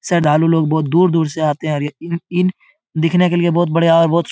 श्रद्धालु लोग बहुत दूर-दूर से आते हैं और इन इन दिखने के लिए बहुत बढ़िया और बहुत --